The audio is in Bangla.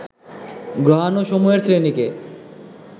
গ্রহাণুসমূহের শ্রেণীকে